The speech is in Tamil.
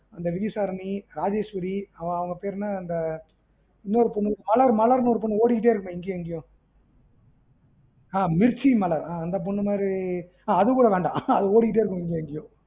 அந்த விஜயதாரணி ராஜேஸ்வரி அவ பேர் என்ன இந்த இன்னொரு பொண்ணு மலர் மலர்னு ஒரு பொண்ணு ஓடிட்டே இருக்குமே இங்கயும் அங்கயும் ஆ மிர்ச்சிமலர் அந்த பொண்ணு மாறி ஆ அது கூட வேண்டாம் அது ஓடிட்டே இருக்கும் இங்கயும் அங்கயும்